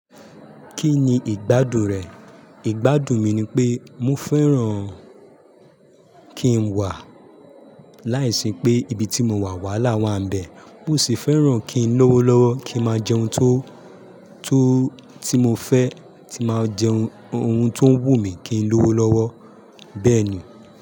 Kí ni ìgbádùn rẹ̀? Ìgbádùn mi ni pé mo fẹ́ràn kí n wà láìsí pé ibi tí mo wà wàhálà máa ń bẹ. Mo sì fẹ́ràn kí n lówó lọ́wọ́, kí n máa jẹ ohun tó, tó, tí mo fẹ́, tí máa jẹ ohun tó ń wù mí kí n lówó lọ́wọ́ bẹ́ẹ̀ ni.